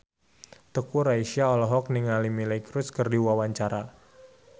Teuku Rassya olohok ningali Miley Cyrus keur diwawancara